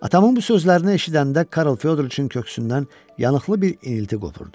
Atamın bu sözlərini eşidəndə Karl Fyodoroviçin köksündən yanıqlı bir inilti qopurdu.